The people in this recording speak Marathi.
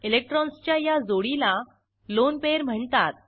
इलेक्ट्रॉन्सच्या या जोडीला लोन पेयर म्हणतात